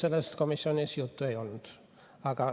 Sellest komisjonis juttu ei olnud.